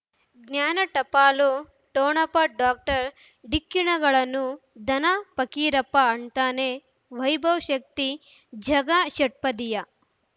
ಜ್ಞಾನ ಟಪಾಲು ಠೊಣಪ ಡಾಕ್ಟರ್ ಢಿಕ್ಕಿ ಣಗಳನು ಧನ ಫಕೀರಪ್ಪ ಳಂತಾನೆ ವೈಭವ್ ಶಕ್ತಿ ಝಗಾ ಷಟ್ಪದಿಯ